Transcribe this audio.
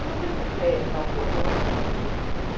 Se você fizer tal coisa, vai acontecer.